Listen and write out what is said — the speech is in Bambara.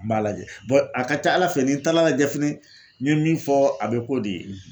N b'a lajɛ a ka ca ALA fɛ ni n taala lajɛ fɛnɛ n ye min fɔ a bɛ k'o de ye.